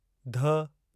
ध